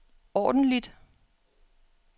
ordentligt